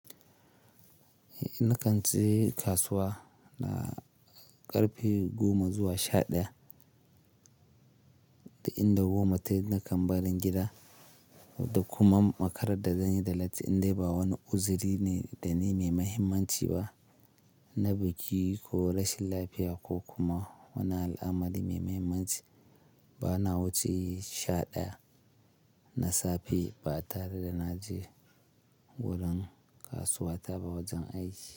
Na kan je kasuwa na ƙarfe goma zuwa sha ɗaya, duk inda goma tavyi na kan barin gida. Da kuma makarar da zan yi da latti in dai ba wani uzuri ne da ni mai mahimmanci ba, na biki ko rashin lafiya ko kuma wani al'amari mai mahimmanci. Ba na wuce sha ɗaya na safe ba tare da na je wurin kasuwa ta ba wajan aiki.